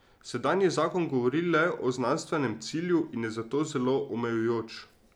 Sedanji zakon govori le o znanstvenem cilju in je zato zelo omejujoč.